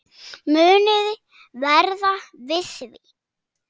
Muniði verða við því?